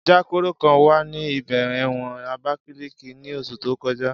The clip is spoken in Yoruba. Ja kuro kan wa ni ibẹ̀ ẹ̀wọ̀n abakiliki ni oṣu to kọja.